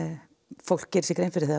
fólk gerir sér grein fyrir þegar